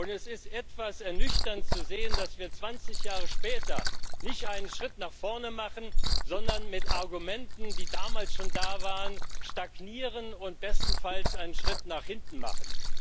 Es ist etwas ernüchternd zu sehen, dass wir 20 Jahre später nicht einen Schritt nach vorne machen, sondern mit Argumenten, die damals schon da waren, stagnieren und bestenfalls einen Schritt nach hinten machen.